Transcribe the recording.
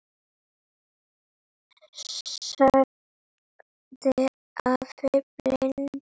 sagði afi blindi.